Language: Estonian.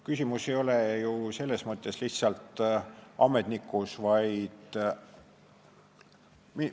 Küsimus ei ole ju lihtsalt ametnikus.